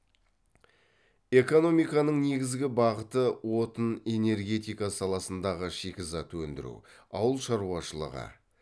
экономиканың негізгі бағыты отын энергетика саласындағы шикізат өндіру ауыл шаруашылығы